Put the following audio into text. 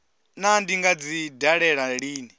naa ndi nga dzi dalela lini